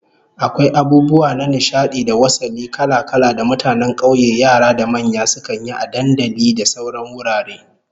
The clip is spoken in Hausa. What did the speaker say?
Akwai abubuwa na nishadi da wasalli kala-kala da mutanen kauye yara da manya sukan yi a dandali da sauran wurare